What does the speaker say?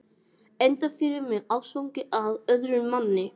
Enda yfir mig ástfangin af öðrum manni.